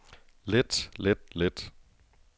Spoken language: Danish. let let let